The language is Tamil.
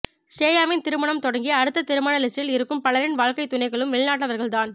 ஸ்ரேயாவின் திருமணம் தொடங்கி அடுத்து திருமண லிஸ்டில் இருக்கும் பலரின் வாழ்க்கை துணைகளும் வெளிநாட்டவர்கள் தான்